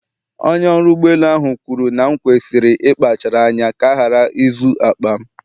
Onye ọrụ ụgbọ elu ahụ kwuru na m kwesịrị ịkpachara anya ka a ghara izu akpa m